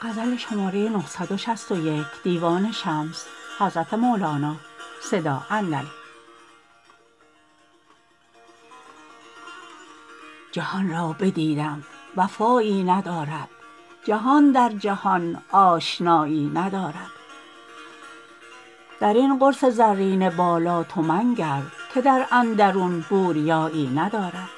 جهان را بدیدم وفایی ندارد جهان در جهان آشنایی ندارد در این قرص زرین بالا تو منگر که در اندرون بوریایی ندارد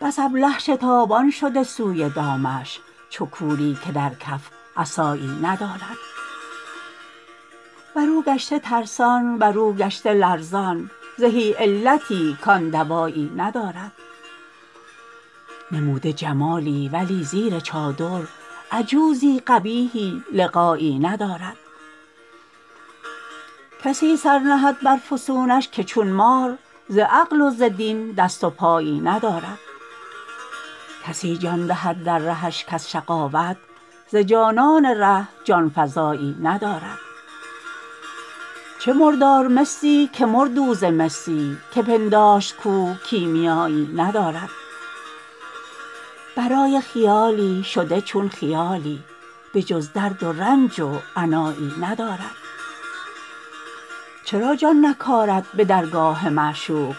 بس ابله شتابان شده سوی دامش چو کوری که در کف عصایی ندارد بر او گشته ترسان بر او گشته لرزان زهی علتی کان دوایی ندارد نموده جمالی ولی زیر چادر عجوزی قبیحی لقایی ندارد کسی سر نهد بر فسونش که چون مار ز عقل و ز دین دست و پایی ندارد کسی جان دهد در رهش کز شقاوت ز جانان ره جان فزایی ندارد چه مردار مسی که مرد او ز مسی که پنداشت کو کیمیایی ندارد برای خیالی شده چون خیالی بجز درد و رنج و عنایی ندارد چرا جان نکارد به درگاه معشوق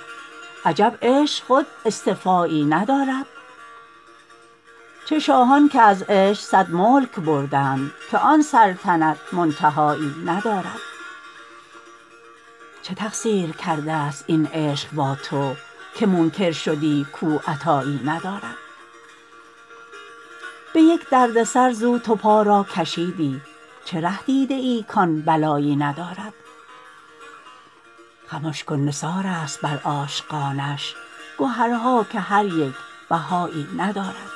عجب عشق خود اصطفایی ندارد چه شاهان که از عشق صد ملک بردند که آن سلطنت منتهایی ندارد چه تقصیر کردست این عشق با تو که منکر شدی کو عطایی ندارد به یک دردسر زو تو پا را کشیدی چه ره دیده ای کان بلایی ندارد خمش کن نثارست بر عاشقانش گهرها که هر یک بهایی ندارد